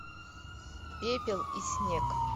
пепел и снег